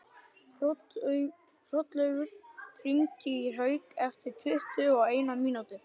Hrollaugur, hringdu í Hauk eftir tuttugu og eina mínútur.